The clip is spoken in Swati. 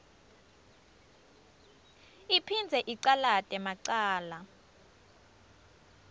iphindze icalate macala